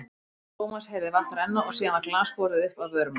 Thomas heyrði vatn renna og síðan var glas borið upp að vörum hans.